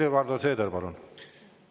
Helir-Valdor Seeder, palun!